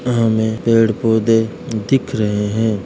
हमें पेड़ पौधे दिख रहे हैं।